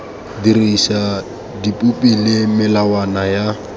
dirisa dipopi le melawana ya